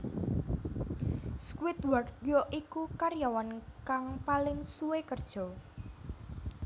Squidward ya iku karyawn kang paling suwe kerja